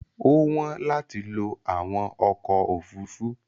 Ó wọ́n láti lo àwọn ọkọ̀ òfurufú.